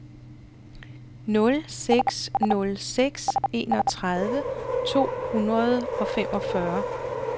nul seks nul seks enogtredive to hundrede og femogfyrre